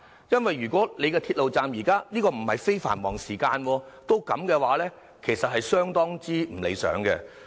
因為如果鐵路站在非繁忙時間仍然這樣擠迫，其實是相當不理想的。